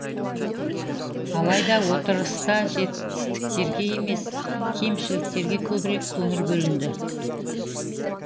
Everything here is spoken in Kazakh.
алайда отырыста жетістіктерге емес кемшіліктерге көбірек көңіл бөлінді